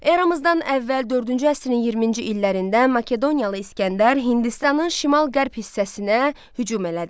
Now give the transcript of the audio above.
Eramızdan əvvəl dördüncü əsrin 20-ci illərində Makedoniyalı İsgəndər Hindistanın şimal-qərb hissəsinə hücum elədi.